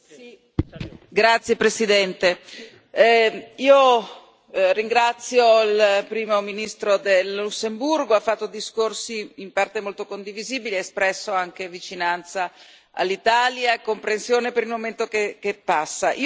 Signor Presidente, onorevoli colleghi, ringrazio il Primo ministro del Lussemburgo, ha fatto discorsi in parte molto condivisibili, ha espresso anche vicinanza all'Italia e comprensione per il momento che passa.